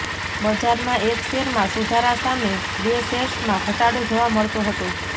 બજારમાં એક શેરમાં સુધારા સામે બે શેર્સમાં ઘટાડો જોવા મળતો હતો